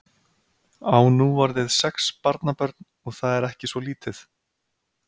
Á nú orðið sex barnabörn og það er ekki svo lítið.